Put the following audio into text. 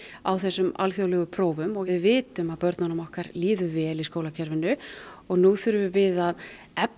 á þessum alþjóðlegu þrófum og við vitum að börnunum okkar líður vel í skólakerfinu og nú þurfum við að efla